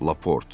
Laport.